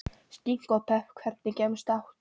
Skinku og pepp Hvernig gemsa áttu?